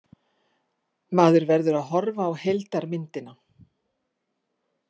Maður verður að horfa á heildarmyndina.